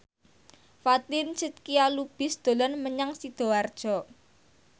Fatin Shidqia Lubis dolan menyang Sidoarjo